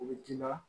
U bɛ d'i ma